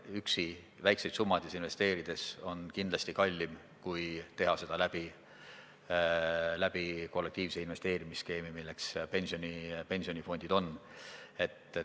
Üksi väikseid summasid investeerida on kindlasti kallim kui teha seda läbi kollektiivse investeerimisskeemi, mida pensionifondid ju on.